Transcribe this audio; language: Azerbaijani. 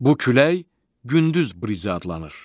Bu külək gündüz brizi adlanır.